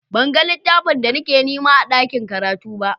Ban gan littafin da nake nema a ɗaƙin karatu ba.